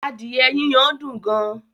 Adìẹ yiyan dùn gan